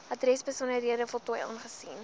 adresbesonderhede voltooi aangesien